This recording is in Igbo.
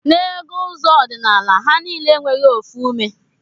Na ego ụzọ ọdinala ha nile enweghi ofu ume